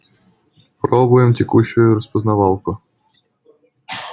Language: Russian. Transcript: пробуем текущую распознавалку